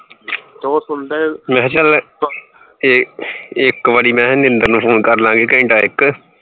ਮੈਂ ਚੱਲ ਇਕ ਇਕ ਵਾਰੀ ਮਹਿ ਨਿੰਦਰ ਨੂੰ phone ਕਰ ਲਾ ਗੇ ਘੰਟਾ ਇਕ